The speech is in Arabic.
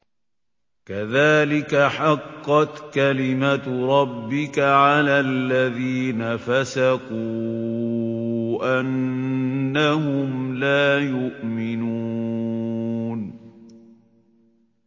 كَذَٰلِكَ حَقَّتْ كَلِمَتُ رَبِّكَ عَلَى الَّذِينَ فَسَقُوا أَنَّهُمْ لَا يُؤْمِنُونَ